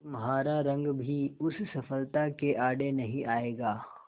तुम्हारा रंग भी उस सफलता के आड़े नहीं आएगा